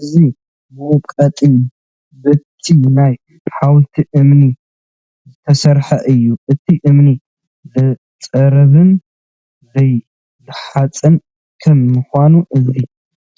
እዚ መውቀጢ በቲ ናይ ሓወልቲ እምኒ ዝተሰርሐ እዩ፡፡ እቲ እምኒ ዘይፅረብን ዘይለሓፅን ከም ምዃኑ እዚ